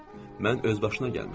Mən özbaşına gəlmişdim.